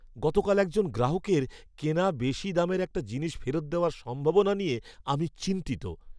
গতকাল একজন গ্রাহকের কেনা বেশি দামের একটা জিনিস ফেরত দেওয়ার সম্ভাবনা নিয়ে আমি চিন্তিত।